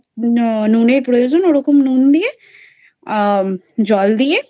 হম নুনের প্রয়োজন এরকম নুন দিয়ে আহ জল দিয়ে